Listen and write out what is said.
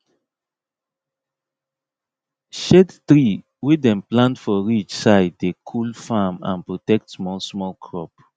shade tree wey dem plant for ridge side dey cool farm and protect small small crop